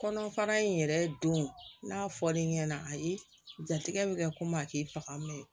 Kɔnɔfara in yɛrɛ don n'a fɔ l'i ɲɛna ayi jatigɛ bɛ kɛ komi a k'i faga mɛ